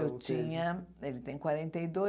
Eu tinha, ele tem quarenta e dois,